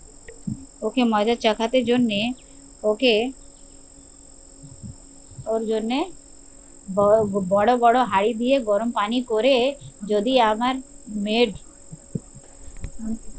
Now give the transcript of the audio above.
ওকে মজা চাকাতে জন্যে ওকে ওর জন্যে বড় বড়ো বড়ো হাড়ি দিয়ে গরম পানি করে যদি আমার মেয়ে